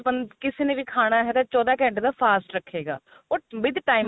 ਕਿਸੇ ਨੇ ਵੀ ਖਾਣਾ ਹੈ ਤਾਂ ਚੋਦਾਂ ਘੰਟੇ ਦਾ fast ਰੱਖੇਗਾ ਉਹ with time